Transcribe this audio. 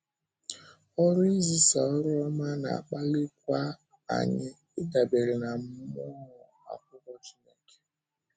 Ọ́rụ izisa ọ́rụ ọma na-akpalikwa anyị ịdabere ná Mmụọ Ákwụkwọ Chíneké.